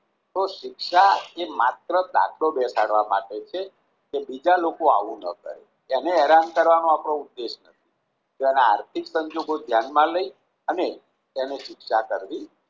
તો શિક્ષા એ માત્ર દાખલો બેસાડવા માટે છે કે બીજા લોકો આવું ન કરે એને હેરાન કરવાનો આપણો ઉદેશ નથી તેના આર્થિક સંજોગો ધ્યાનમાં લઈ અને તેને શિક્ષા કરવી